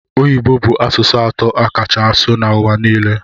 Oyibo bu asụsụ atọ akacha asụ na ụwa nile.